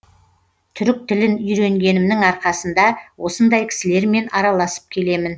түрік тілін үйренгенімнің арқасында осындай кісілермен араласып келемін